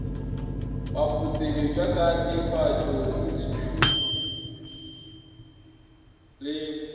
baputseletšwa ka teefatšo instithušene le